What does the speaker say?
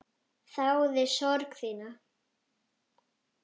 Þáði sorg þína.